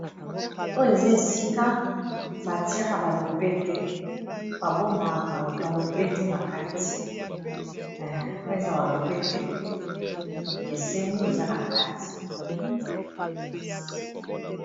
Oyo eza esika batiaka balopete babomba balopete na katioyo eza balopete ekeseni eza na kati.